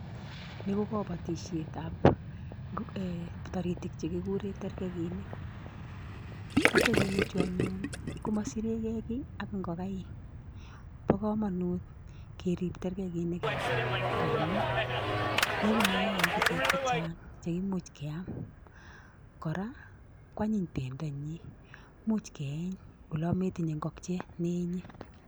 Ni ko kabatisietab um taritik che kikure terkekinik, terkekinichu anyun koma sirekekiy ak ingokaik, bo kamanut kerip terkekinik eng gaa ngamun logu mayaik ichek che chang che imuch keam kora kwanyiny bendonyi much keeny olometinye ngokiet ne eenye.